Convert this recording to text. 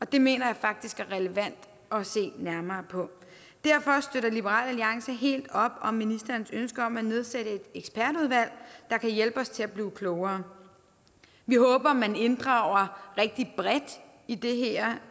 det mener jeg faktisk er relevant at se nærmere på derfor støtter liberal alliance helt op om ministerens ønske om at nedsætte et ekspertudvalg der kan hjælpe os til at blive klogere vi håber at man inddrager rigtig bredt i det her